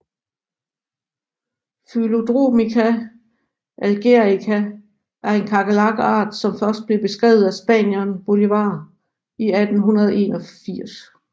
Phyllodromica algerica er en kakerlakart som først blev beskrevet af spanieren Bolívar i 1881